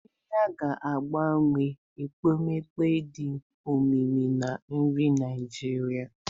Ayiya ga-agbakwunye ekpomeekpo dị omimi na nri Naijiria.